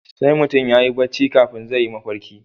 Sai mutum yayi barci kafin zai yi mafalki